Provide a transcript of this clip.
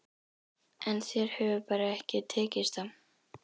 En þér hefur bara ekki tekist það.